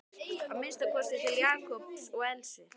Að minnsta kosti til Jakobs og Elsu.